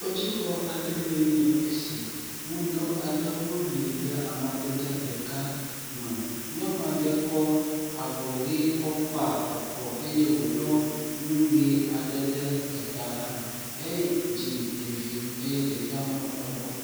Kpetsixɔ aɖee nye esi, mudɔ aɖewo li le amadede ɖeka me, nyɔnu aɖe kɔ avɔ ʋe kɔ kpa akɔ eye wòɖɔ nu ʋe aɖe ɖe ta hã edzi evi eye ɖevia mlɔ egbɔ.